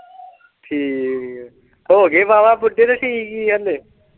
ਠੀਕ ਏ ਹੋ ਗਏ ਵਾਹ-ਵਾਹ ਬੁੱਢੇ ਕਿ ਠੀਕ ਹੀ ਏ ਹਲੇ।